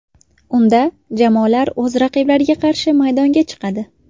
Unda jamoalar o‘z raqiblariga qarshi maydonga chiqadi.